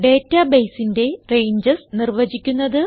databaseന്റെ ranges നിർവചിക്കുന്നത്